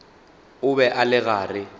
o be a le gare